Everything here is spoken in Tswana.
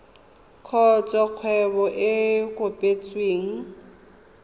kgotsa kgwebo e e kopetsweng